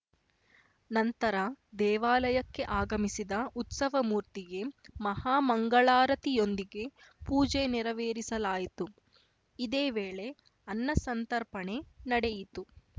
ನಂತರ ದೇವಾಲಕ್ಕೆ ಆಗಮಿಸಿದ ಉತ್ಸವ ಮೂರ್ತಿಗೆ ಮಹಾ ಮಂಗಳಾರತಿಯೊಂದಿಗೆ ಪೂಜೆ ನೆರವೇರಿಸಲಾಯಿತು ಇದೇ ವೇಳೆ ಅನ್ನಸಂತರ್ಪಣೆ ನಡೆಯಿತು